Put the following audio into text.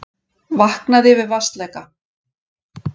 Vaknaði við vatnsleka